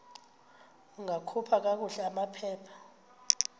ungakhupha kakuhle amaphepha